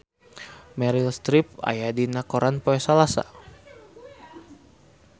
Meryl Streep aya dina koran poe Salasa